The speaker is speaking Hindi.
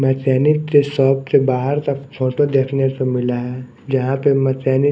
मैकेनिक के शॉप के बाहर तक फोटो देखने को मिला है जहां पे मैकेनिक --